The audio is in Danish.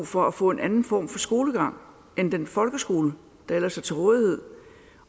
for at få en anden form for skolegang end den folkeskole der ellers er til rådighed